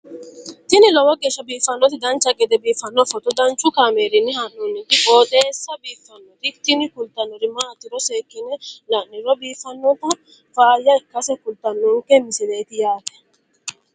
tini lowo geeshsha biiffannoti dancha gede biiffanno footo danchu kaameerinni haa'noonniti qooxeessa biiffannoti tini kultannori maatiro seekkine la'niro biiffannota faayya ikkase kultannoke misileeti yaate